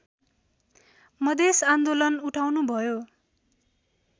मधेस आन्दोलन उठाउनुभयो